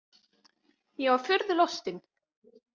Ég var furðu lostin.